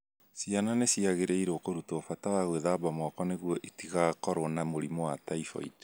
Ciana nĩ ciagĩrĩirũo kũrutwo bata wa gwĩthamba moko nĩguo itigakorũo na mũrimũ wa typhoid